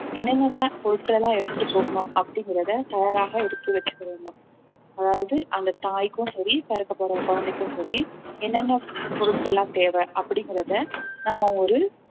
என்னென்னலாம் பொருட்கள் எல்லாம் எடுத்துட்டு போகனும் அப்படிங்கறத தயாராக எடுத்து வச்சுக்கவேணும் அதாவது அந்த தாய்க்கும் சரி பிறக்கப்போற குழந்தைக்கும் சரி என்னென்ன பொருட்கள்லாம் தேவை அப்படிங்கறத நம்ம ஒரு